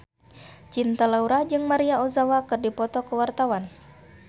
Cinta Laura jeung Maria Ozawa keur dipoto ku wartawan